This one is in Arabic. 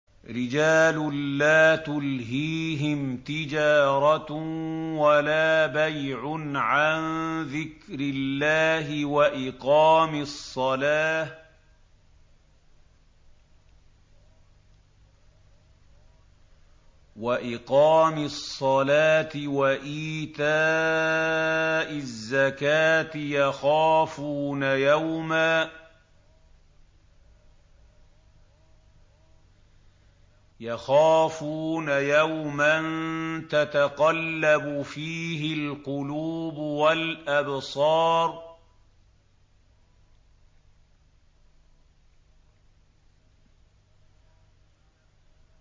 رِجَالٌ لَّا تُلْهِيهِمْ تِجَارَةٌ وَلَا بَيْعٌ عَن ذِكْرِ اللَّهِ وَإِقَامِ الصَّلَاةِ وَإِيتَاءِ الزَّكَاةِ ۙ يَخَافُونَ يَوْمًا تَتَقَلَّبُ فِيهِ الْقُلُوبُ وَالْأَبْصَارُ